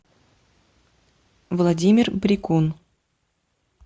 владимир брикун